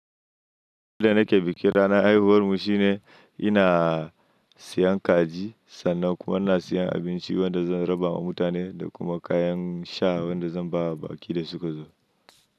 Yanda nake bikin ranar haihuwar mu shine ina siyan kaji sannan kuma ina siyan abinci wanda zan raba wa mutane da kuma kayan sha wanda zan ba baƙi da su ka zo.